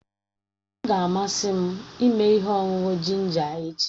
Ọ ga-amasị m ịme ihe ọṅụṅụ jinja echi.